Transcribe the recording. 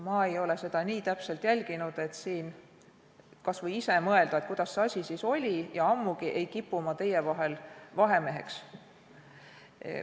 Ma ei ole seda nii täpselt jälginud, et siin kas või ise mõelda, kuidas see asi siis oli, ja ammugi ei kipu ma teie vahemeheks.